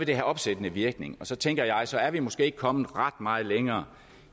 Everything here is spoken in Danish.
det have opsættende virkning og så tænker jeg at så er vi måske ikke kommet ret meget længere